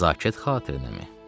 Nəzakət xatirinəmi?